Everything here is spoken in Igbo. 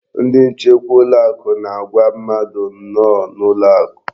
Ndị nchekwa ụlọakụ na-agwa mmadụ nnọọ n'ụlọakụ.